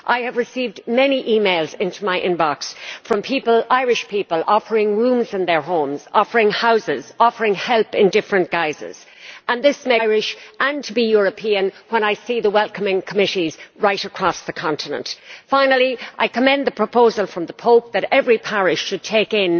I have received many emails from Irish people offering rooms in their homes, offering houses, offering help in different guises and it makes me proud to be Irish and to be European when I see the welcoming committees right across the continent. Finally I commend the proposal from the Pope that every parish should take in